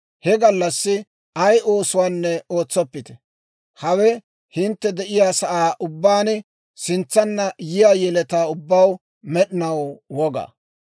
He gallassi ay oosuwaanne ootsoppite. Hawe hintte de'iyaa saan ubbaan sintsanna yiyaa yeletaw ubbaw med'inaw woga.